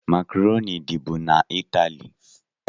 Macroni dị bụ n' italie